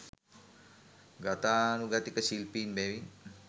ගතානුගතික ශිල්පීන් බැවින්